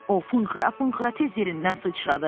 O funğ-xıra-funğ-xıra tez yerindən sıçradı.